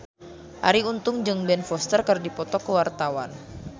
Arie Untung jeung Ben Foster keur dipoto ku wartawan